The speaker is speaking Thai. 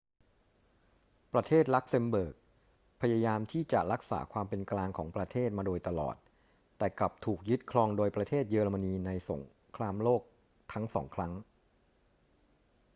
ประเทศลักเซมเบิร์กพยายามที่จะรักษาความเป็นกลางของประเทศมาโดยตลอด แต่กลับถูกยึดครองโดยประเทศเยอรมนีในสงครามโลกทั้งสองครั้ง